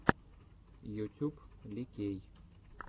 ютюб ли кей